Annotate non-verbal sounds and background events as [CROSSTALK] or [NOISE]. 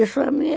Isso [UNINTELLIGIBLE]